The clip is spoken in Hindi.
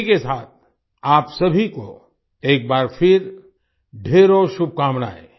इसी के साथ आप सभी को एक बार फिर ढ़ेरों शुभकामनायें